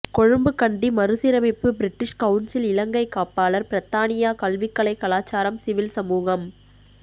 கொழும்பு கண்டி மறுசீரமைப்பு British council இலங்கை காப்பாளர் பிரித்தானியா கல்வி கலை கலாசாரம் சிவில் சமூகம்